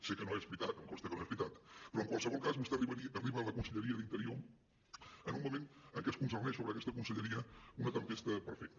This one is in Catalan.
sé que no és veritat em consta que no és veritat però en qualsevol cas vostè arriba a la conselleria d’interior en un moment en què conflueix sobre aquesta conselleria una tempesta perfecta